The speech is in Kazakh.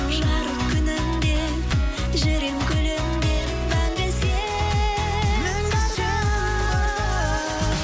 жарық күнім деп жүрем күлімдеп мәңгі сен барда